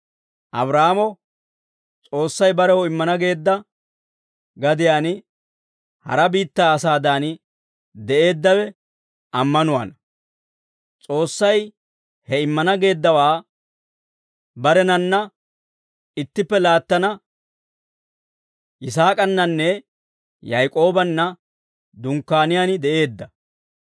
Abraahaamo S'oossay barew immana geedda gadiyaan hara biittaa asaadan de'eeddawe ammanuwaana; S'oossay he immana geeddawaa barenanna ittippe laattana Yisaak'ananne Yak'oobanna Dunkkaaniyaan de'eedda.